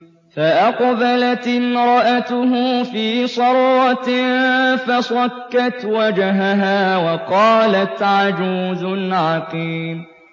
فَأَقْبَلَتِ امْرَأَتُهُ فِي صَرَّةٍ فَصَكَّتْ وَجْهَهَا وَقَالَتْ عَجُوزٌ عَقِيمٌ